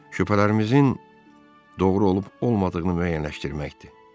Şübhələrimizin doğru olub-olmadığını müəyyənləşdirməkdir.